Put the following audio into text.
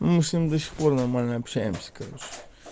мы с ним до сих пор нормально общаемся короче